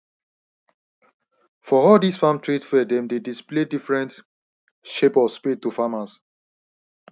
for all this farm trade fair them dey display different shape of spade to farmers